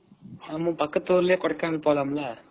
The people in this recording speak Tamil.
ஆமா பக்கத்துலயே கொடைக்கானல் போலாம்ல.